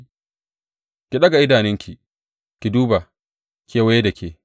Ki ɗaga idanunki ki duba kewaye da ke.